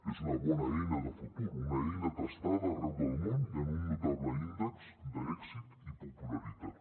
és una bona eina de futur una eina testada arreu del món i amb un notable índex d’èxit i popularitat